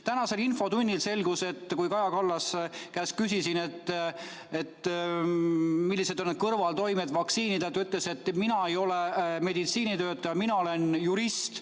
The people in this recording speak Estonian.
Tänases infotunnis, kui ma Kaja Kallase käest küsisin, millised on vaktsiinide kõrvaltoimed, ta ütles: "Mina ei ole meditsiinitöötaja, mina olen jurist.